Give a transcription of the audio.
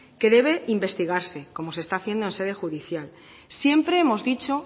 que debe investigarse como se está haciendo en sede judicial siempre hemos dicho